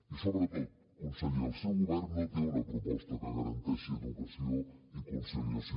i sobretot conseller el seu govern no té una proposta que garanteixi educació i conciliació